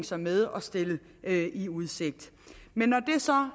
sig med og stille i udsigt men når det så